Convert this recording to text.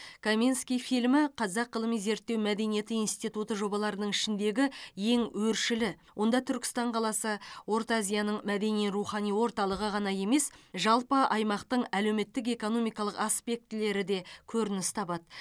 каменский фильмі қазақ ғылыми зерттеу мәдениет институты жобаларының ішіндегі ең өршілі онда түркістан қаласы орта азияның мәдени рухани орталығы ғана емес жалпы аймақтың әлеуметтік экономикалық аспектілері де көрініс табады